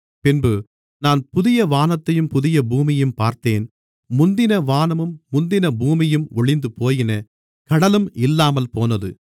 பின்பு நான் புதிய வானத்தையும் புதிய பூமியையும் பார்த்தேன் முந்தின வானமும் முந்தின பூமியும் ஒழிந்துபோயின கடலும் இல்லாமல்போனது